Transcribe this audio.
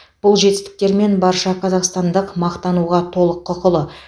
бұл жетістіктермен барша қазақстандық мақтануға толық құқылы